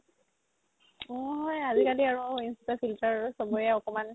অ হয় আজিকালি আৰু ইন্স্তা filter চ'বৰে একমাণ